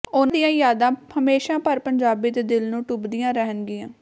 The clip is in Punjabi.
ਉਨ੍ਹਾਂ ਦੀਆਂ ਯਾਦਾਂ ਹਮੇਸ਼ਾ ਹਰ ਪੰਜਾਬੀ ਦੇ ਦਿਲ ਨੂੰ ਟੁੰਬਦੀਆਂ ਰਹਿਣਗੀਆਂ